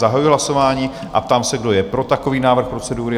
Zahajuji hlasování a ptám se, kdo je pro takový návrh procedury?